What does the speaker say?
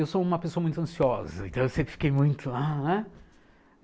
Eu sou uma pessoa muito ansiosa, então eu sempre fiquei muito ah, né.